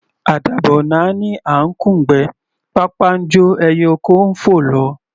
Àdàbà ò náání à ńkùn'gbẹ́; pápá ńjó ẹyẹ oko fò lọ.